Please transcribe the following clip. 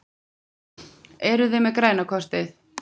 Eruði með græna kortið?